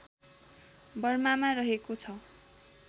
बर्मामा रहेको छ